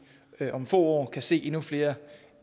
om få år kan se endnu flere